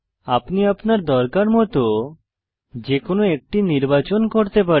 আপনি আপনার দরকার মত যে কোনো একটি নির্বাচন করতে পারেন